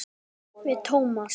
Við Tómas.